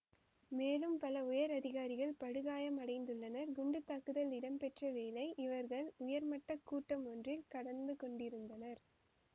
மேலும் பல உயர் அதிகாரிகள் படுகாயமடைந்துள்ளனர் குண்டு தாக்குதல் இடம்பெற்ற வேளை இவர்கள் உயர் மட்ட கூட்டம் ஒன்றில் கலந்து கொண்டிருந்தனர்